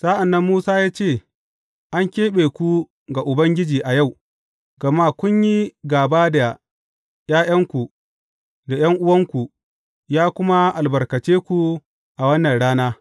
Sa’an nan Musa ya ce, An keɓe ku ga Ubangiji a yau, gama kun yi gāba da ’ya’yanku da ’yan’uwanku, ya kuma albarkace ku a wannan rana.